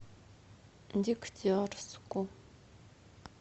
дегтярску